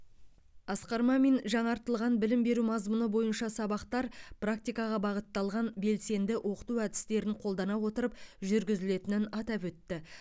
асқар мамин жаңартылған білім беру мазмұны бойынша сабақтар практикаға бағытталған белсенді оқыту әдістерін қолдана отырып жүргізілетінін атап өтті